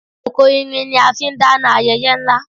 Kòkò irin ni a fi ń dáná ayẹyẹ ńlá